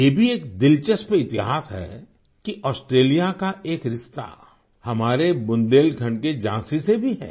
ये भी एक दिलचस्प इतिहास है कि ऑस्ट्रेलिया का एक रिश्ता हमारे बुंदेलखंड के झाँसी से भी है